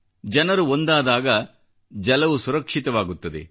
ಜನರು ಒಂದಾದಾಗ ಜಲವು ಸುರಕ್ಷಿತವಾಗುತ್ತದೆ